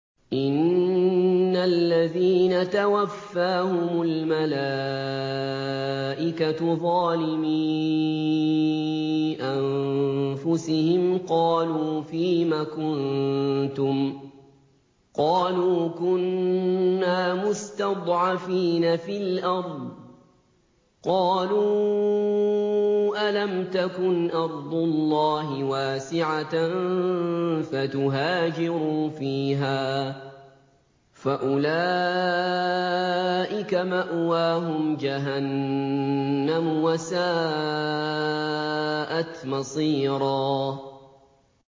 إِنَّ الَّذِينَ تَوَفَّاهُمُ الْمَلَائِكَةُ ظَالِمِي أَنفُسِهِمْ قَالُوا فِيمَ كُنتُمْ ۖ قَالُوا كُنَّا مُسْتَضْعَفِينَ فِي الْأَرْضِ ۚ قَالُوا أَلَمْ تَكُنْ أَرْضُ اللَّهِ وَاسِعَةً فَتُهَاجِرُوا فِيهَا ۚ فَأُولَٰئِكَ مَأْوَاهُمْ جَهَنَّمُ ۖ وَسَاءَتْ مَصِيرًا